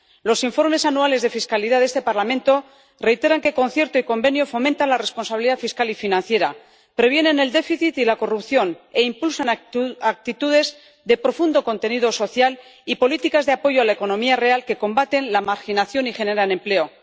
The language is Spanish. Los informes anuales de fiscalidad de este Parlamento reiteran que Concierto y Convenio fomentan la responsabilidad fiscal y financiera, previenen el déficit y la corrupción e impulsan actuaciones de profundo contenido social y políticas de apoyo a la economía real que combaten la marginación y generan empleo.